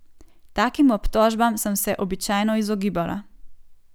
Takim obtožbam sem se običajno izogibala.